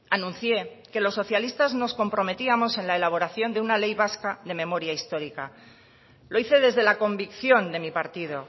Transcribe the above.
anuncié que los socialistas nos comprometíamos en la elaboración de una ley vasca de memoria histórica lo hice desde la convicción de mi partido